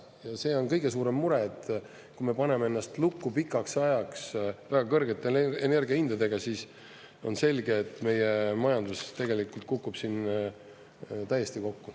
Ja see on kõige suurem mure, et kui me paneme ennast lukku pikaks ajaks väga kõrgete energiahindadega, siis on selge, et meie majandus tegelikult kukub siin täiesti kokku.